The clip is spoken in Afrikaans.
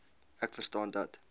ek verstaan dat